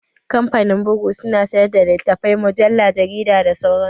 Kamfanin bugu su na sayar da littafai, mujalla, jarida da sauran su